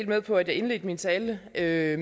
med på at jeg indledte min tale med er jeg